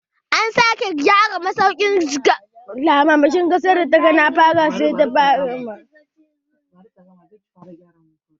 An sake gyara masaukin gwamnan jigawa dake kano